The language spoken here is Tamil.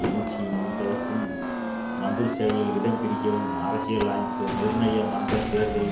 எழுச்சியை முடிப்பதற்கும் மந்திரிசபையில் இடம் பிடிக்கவும் அரசியல் அமைப்பு நிர்ணய மன்ற தேர்தல்களில்